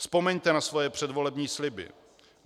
Vzpomeňte na svoje předvolební sliby.